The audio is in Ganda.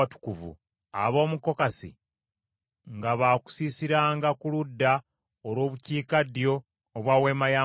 Ab’omu Kokasi nga baakusiisiranga ku ludda olw’obukiikaddyo obwa Weema ya Mukama .